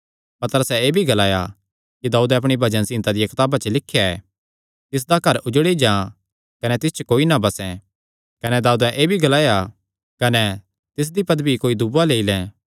पतरसैं एह़ भी ग्लाया कि दाऊदैं अपणी भजन संहिता दिया कताबा च लिख्या ऐ तिसदा घर उजड़ी जां कने तिस च कोई ना बसें कने दाऊदैं एह़ भी ग्लाया कने तिसदी पदवी कोई दूआ लेई लैं